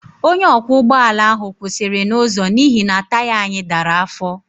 Onye ọkwọ ụgbọ ala ahụ kwụsịrị n'ụzọ n'ihi na taya anyị dara afọ